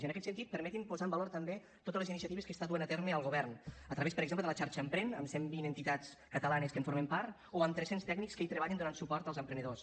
i en aquest sentit permeti’m posar en valor també totes les iniciatives que està duent a terme el govern a través per exemple de la xarxa emprèn amb cent vint entitats catalanes que en formen part o amb tres cents tècnics que hi treballen donant suport als emprenedors